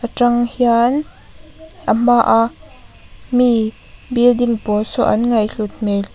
tang hian a hmaa mi building pawl saw an ngaih hlut hmel --